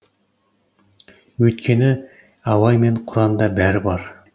өйткені абай мен құранда бәрі бар